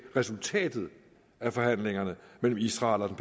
resultatet af forhandlingerne mellem israel og den